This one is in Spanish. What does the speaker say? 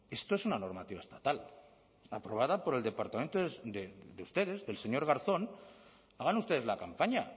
esto es una normativa estatal aprobada por el departamento de ustedes del señor garzón hagan ustedes la campaña